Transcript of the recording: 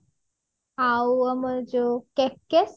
ଆଉ ଆମର ଯୋଉ KKS